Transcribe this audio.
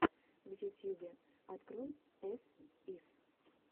в ютьюбе открой эс ис